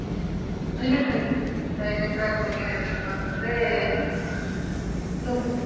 railway track ಬಗ್ಗೆ ಹೇಳ್ಬೇಕು ಅಂದ್ರೆ ನೋ ಬಜೆಟ್ ..